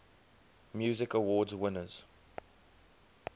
music awards winners